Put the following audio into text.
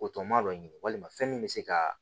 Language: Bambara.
O tɔmɔ dɔ ɲini walima fɛn min bɛ se ka